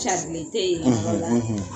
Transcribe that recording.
carilen tɛ yen yɔrɔla